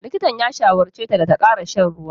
Likitan ya shawarce ta da ta ƙara shan ruwa.